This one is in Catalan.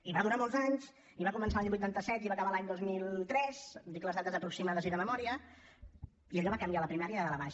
i va durar molts anys i va començar l’any vuitanta set i va acabar l’any dos mil tres dic les dates aproximades i de memòria i allò va canviar la primària de dalt a baix